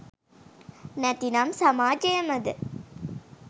නැතිනම් සමාජයමද?